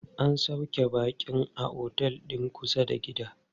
An sauƙe baƙin a otel din kusa da gida.